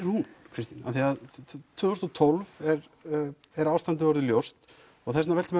hún Kristín tvö þúsund og tólf er ástandið orðið ljóst og þess vegna veltir